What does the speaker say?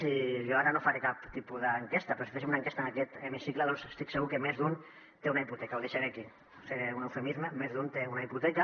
i jo ara no faré cap tipus d’enquesta però si féssim una enquesta en aquest hemicicle doncs estic segur que més d’un té una hipoteca ho deixaré aquí faré un eufemisme més d’un té una hipoteca